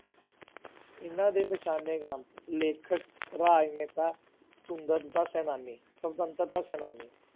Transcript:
ਇਹਨਾਂ ਦੇ ਪਛਾਣੇ ਕੰਮ ਲੇਖਕ, ਰਾਜਨੇਤਾ, ਸੁੰਦਰਤਾ ਸੈਨਾਨੀ, ਸੁਤੰਤਰਤਾ ਸੈਨਾਨੀ।